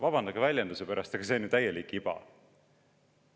" Vabandage väljenduse pärast, aga see on ju täielik iba.